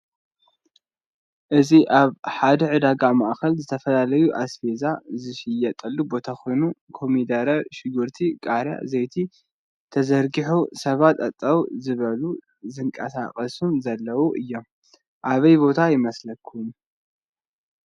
እዚ አብ ሐደ ዕዳጋ መአኸል ዝተፈላለዩ አስፌዛ ዝሽየጠሉ ቦታ ኮይኑ ኮሚደረ፣ ሽጉርቲ፣ ቃርያ፣ ዘይቲ ተዘርጊሑ ሰባት ጠጠው ዝበሉን ዝንቃሳቀሱን ዘለዎ እዩ። አበይ ቦታ ይመስለኩም?